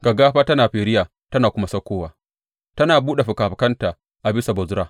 Gaggafa tana firiya tana kuma saukowa, tana buɗe fikafikanta a bisa Bozra.